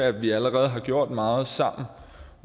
at vi allerede har gjort meget sammen